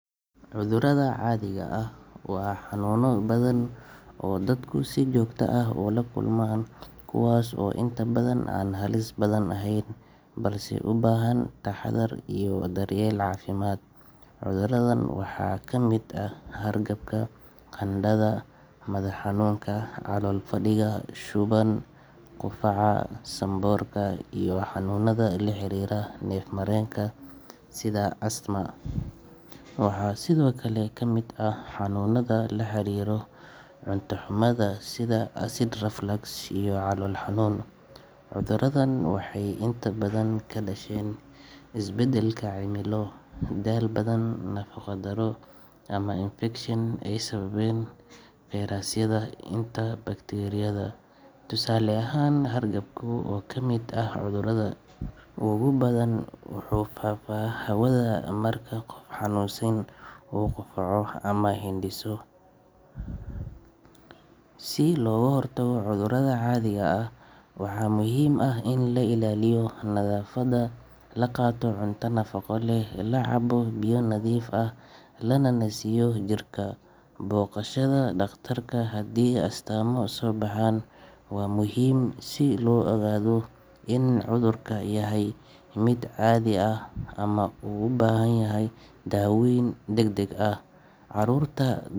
Cudurada caadiga ah waa xanuunno badan oo dadku si joogto ah ula kulmaan, kuwaas oo inta badan aan halis badan ahayn balse u baahan taxaddar iyo daryeel caafimaad. Cuduradan waxaa kamid ah hargabka, qandhada, madax xanuunka, calool fadhiga, shuban, qufaca, sanboorka, iyo xanuunada la xiriira neef mareenka sida asthma. Waxaa sidoo kale ka mid ah xanuunada la xiriira cunto xumada sida acid reflux iyo calool xanuun. Cuduradan waxay inta badan ka dhasheen isbeddelka cimilo, daal badan, nafaqo darro ama infekshan ay sababaan fayrasyada iyo bakteeriyada. Tusaale ahaan, hargabka oo ka mid ah cudurada ugu badan wuxuu ku faafaa hawada marka qof xanuunsan uu qufaco ama hindhiso. Si looga hortago cudurada caadiga ah, waxaa muhiim ah in la ilaaliyo nadaafadda, la qaato cunto nafaqo leh, la cabbo biyo nadiif ah, lana nasiyo jirka. Booqashada dhakhtarka haddii astaamo soo baxaan waa muhiim, si loo ogaado in cudurka yahay mid caadi ah ama u baahan daaweyn degdeg ah. Carruurta.